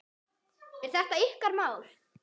Er þetta ykkar mál?